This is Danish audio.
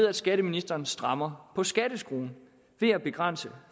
at skatteministeren strammer skatteskruen ved at begrænse